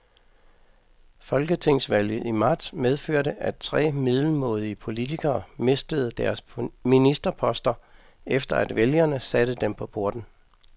Folketingsvalget i marts medførte, at tre middelmådige politikere mistede deres ministerposter, efter at vælgerne satte dem på porten.